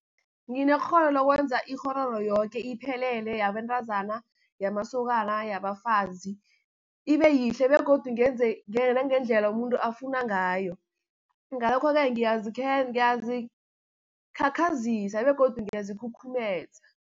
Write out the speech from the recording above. Nginekghono lokwenza ikghororo yoke iphelele yabentazana, yamasokana, yabafazi ibe yihle, begodu ngenze nangendlela umuntu afuna ngayo. Ngalokho-ke ngiyazikhakhazisa begodu ngiyazikhukhumeza.